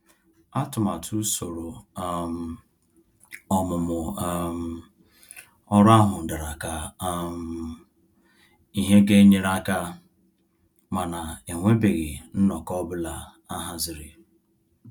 Atụmatụ usoro um ọmụmụ um ọrụ ahụ dara ka um ihe ga-enyere aka ,mana enwebeghị nnọkọ ọ bụla ahaziri.